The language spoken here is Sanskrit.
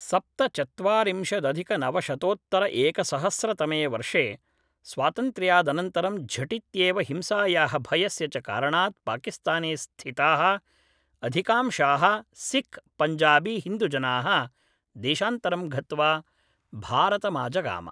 सप्तचत्वारिंशदधिकनवशतोत्तरएकसहस्रतमे वर्षे स्वातन्त्र्यादनन्तरं झटित्येव हिंसायाः भयस्य च कारणात् पाकिस्ताने स्थिताः अधिकांशाः सिख् पञ्जाबी हिन्दुजनाः देशान्तरं गत्वा भारतमाजगाम